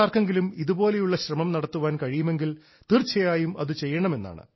നിങ്ങളിൽ ആർക്കെങ്കിലും ഇതുപോലെയുള്ള ശ്രമം നടത്താൻ കഴിയുമെങ്കിൽ തീർച്ചയായും അത് ചെയ്യണമെന്നാണ്